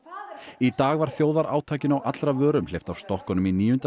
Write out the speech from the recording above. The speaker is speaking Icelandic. í dag var þjóðarátakinu á allra vörum hleypt af stokkunum í níunda